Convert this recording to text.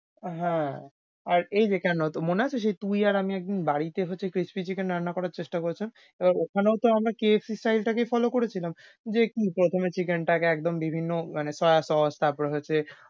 হ্যাঁ, আর এই যে কেন মনে আছে সেই তুই আর আমি একদিন বাড়িতে হচ্ছে crispy chicken রান্না করার চেষ্টা করেছিলাম? তো ওখানেও তো আমরা KFC size টা কেই follow করেছিলাম। যে প্রথমে chicken টাকে একদম বিভিন্ন মানে soya sauce তারপর হচ্ছে,